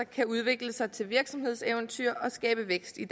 kan udvikle sig til et virksomhedseventyr og skabe vækst i